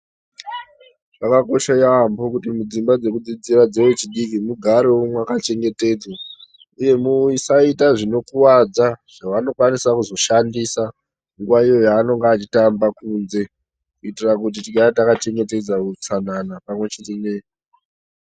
Zvakakosha yaamho kuti mudzimba dzekudzidzira dzevechidiki mugarevo makachengetedzwa, uye musaita zvinokuvadza zvavanokwanisa kuzoshandisa nguva iyoyo yavanenge vachitamba kunze. Kuitira kuti tigare takachengetedza hutsanana pamwe chete ne.